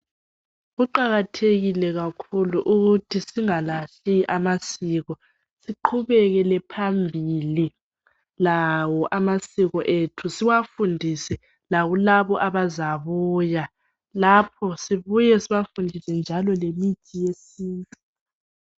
Kuqakathekile kakhulu ukuthi singalahli amasiko. Siqhubekele phambili lawo amasiko ethu siwafundise lakulabo abazabuya. Lapho sibuye sibafundise njalo lemithi yesintu.